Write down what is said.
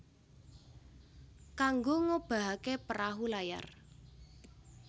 Kanggo ngobahaké perahu layar